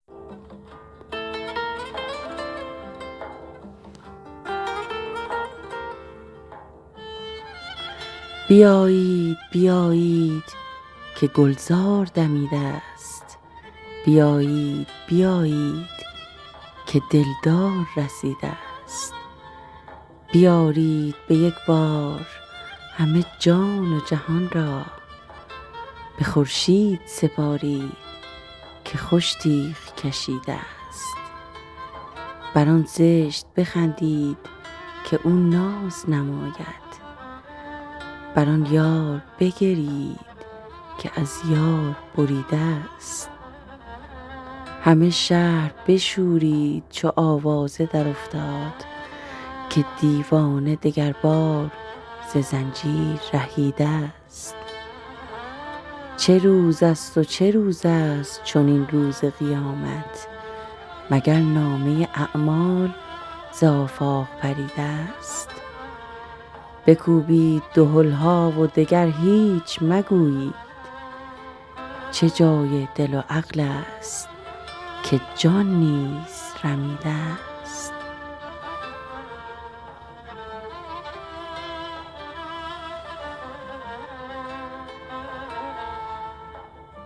بیایید بیایید که گلزار دمیده ست بیایید بیایید که دلدار رسیده ست بیارید به یک بار همه جان و جهان را به خورشید سپارید که خوش تیغ کشیده ست بر آن زشت بخندید که او ناز نماید بر آن یار بگریید که از یار بریده ست همه شهر بشورید چو آوازه درافتاد که دیوانه دگربار ز زنجیر رهیده ست چه روزست و چه روزست چنین روز قیامت مگر نامه اعمال ز آفاق پریده ست بکوبید دهل ها و دگر هیچ مگویید چه جای دل و عقلست که جان نیز رمیده ست